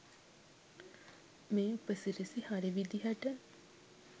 මේ උපසිරසි හරි විදියට